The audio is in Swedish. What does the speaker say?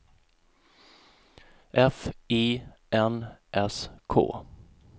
F I N S K